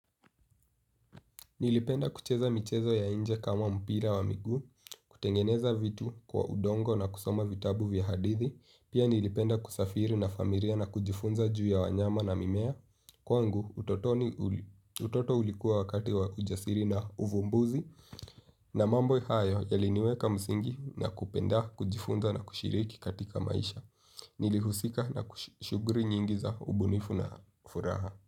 Nilipenda kucheza michezo ya inje kama mpira wa miguu, kutengeneza vitu kwa udongo na kusoma vitabu vya hadithi, pia nilipenda kusafiri na familia na kujifunza juu ya wanyama na mimea. Kwangu utotoni uli, utoto ulikuwa wakati wa ujasiri na uvumbuzi, na mambo hayo yali niweka msingi na kupenda kujifunza na kushiriki katika maisha, nilihusika na shuguri nyingi za ubunifu na furaha.